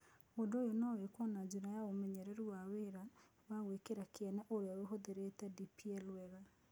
Ũndũ ũyũ no wĩkwo na njĩra ya ũmenyeru wa wĩĩra wa gwĩkĩra kĩene ũrĩa ũhũthĩrĩte DPL wega